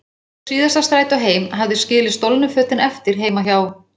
Ég tók síðasta strætó heim, hafði skilið stolnu fötin eftir heima hjá